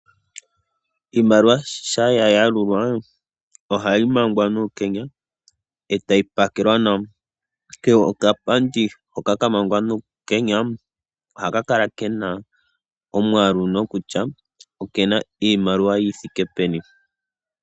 Iimaliwa ngele ya yalulwa ohayi manga nuukenya eta yi pakelwa nawa. Kehe okapandi hoka ka mangwa nuukenya ohaka kala kena omwaalu kutya okena iimaliwa yi thike peni.